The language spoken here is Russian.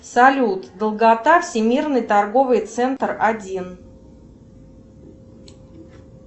салют долгота всемирный торговый центр один